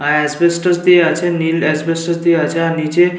আহ asbestos দিয়ে আছে নীল অ্যাসবেসটস দিয়ে আছে আর নিচে --।